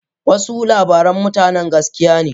Wasu labaran mutanen gaskiya ne.